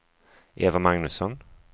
Eva Magnusson